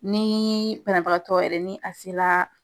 Ni banabagatɔ yɛrɛ ni a se la